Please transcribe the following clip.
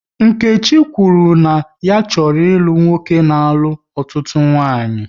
Nkechi kwuru na ya chọrọ ịlụ nwoke na-alụ ọtụtụ nwaanyị